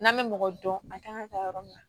N'an bɛ mɔgɔ dɔn a kan ka taa yɔrɔ min na